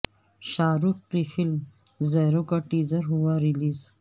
شاہ رخ کی film Zero کا teaser ہوا رلیز